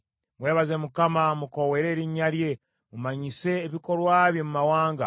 Mwebaze Mukama , mukoowoole erinnya lye, mumanyise ebikolwa bye mu mawanga.